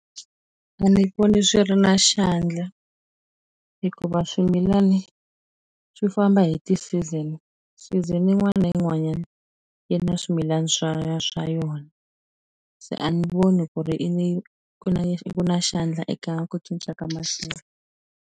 A ndzi voni swi ri na xandla hikuva swimilana swi famba hi ti-season. Season yin'wana na yin'wanyana yi na swimilana swa swa yona. Se a ni voni ku ri ku na ku na xandla eka ku cinca ka maxelo.